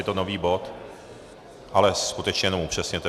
Je to nový bod, ale skutečně jenom upřesněte.